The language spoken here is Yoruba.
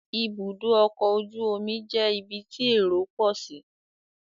Ibùdó ọkọ̀ ojú omi jẹ́ ibi tí èrò pọ̀ sí